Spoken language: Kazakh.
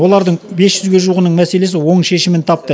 олардың бес жүзге жуығының мәселесі оң шешімін тапты